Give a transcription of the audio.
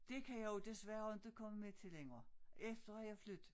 Dét kan jeg jo desværre inte komme med til længere efter jeg flyt